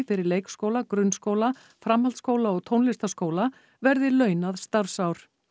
fyrir leikskóla grunnskóla framhaldsskóla og tónlistarskóla verði launað starfsár